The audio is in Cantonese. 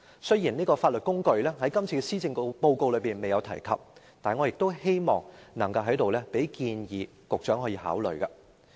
雖然今次施政報告沒有提及這項法律工具，但我希望在此建議局長考慮。